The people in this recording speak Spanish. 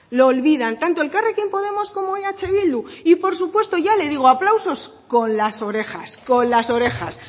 lo olvidan tanto elkarrekin podemos como eh bildu y por supuesto ya le digo aplausos con las orejas con las orejas